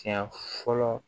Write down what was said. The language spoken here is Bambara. Siɲɛ fɔlɔ